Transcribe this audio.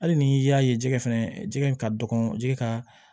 Hali n'i y'a ye jɛgɛ fɛnɛ jɛgɛ in ka dɔgɔn jɛgɛ ka